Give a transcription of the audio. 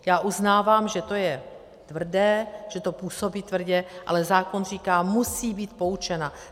Já uznávám, že to je tvrdé, že to působí tvrdě, ale zákon říká - musí být poučena.